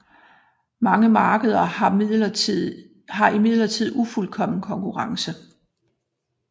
Mange markeder har imidlertid ufuldkommen konkurrence